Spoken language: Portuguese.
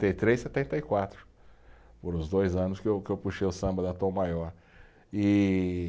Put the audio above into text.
e três, setenta e quatro, foram os dois anos que eu, que eu puxei o samba da Tom Maior, e